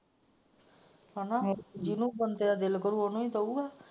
ਜਿਹਨੂੰ ਬੰਦੇ ਦਾ ਦਿਲ ਕਰੋ ਉਹਨੂੰ ਹੀ ਕਾਹੋ ਗਏ।